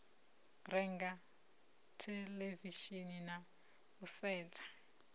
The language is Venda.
renga theḽevishini na u sedza